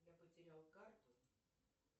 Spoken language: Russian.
я потерял карту